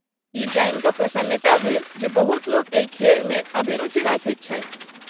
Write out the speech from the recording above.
ई जानि कऽ प्रसन्नता भेल जे बहुत लोक एहि खेलमे अभिरुचि रखैत छथि।